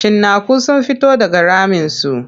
Cinnaku sun fito daga raminsu.